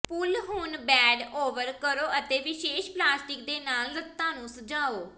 ਪੁੱਲ ਹੁਣ bed over ਕਰੋ ਅਤੇ ਵਿਸ਼ੇਸ਼ ਪਲਾਸਟਿਕ ਦੇ ਨਾਲ ਲੱਤਾਂ ਨੂੰ ਸਜਾਓ